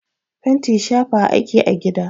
Fenti shafawa ake a gida.